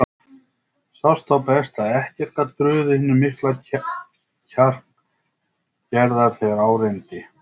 Sást þá best að ekkert gat bugað hinn mikla kjark Gerðar þegar á reyndi.